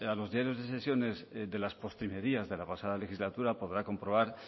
los diarios de sesiones de las postrimerías de la pasada legislatura podrá comprobar